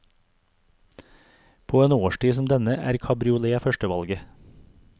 På en årstid som denne er cabriolet førstevalget.